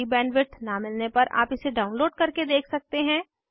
अच्छी बैंडविड्थ न मिलने पर आप इसे डाउनलोड करके देख सकते हैं